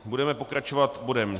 Budeme pokračovat bodem